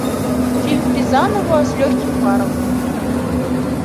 фильм рязанова с легким паром